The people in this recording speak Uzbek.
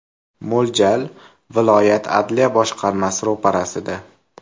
Mo‘ljal – viloyat adliya boshqarmasi ro‘parasida.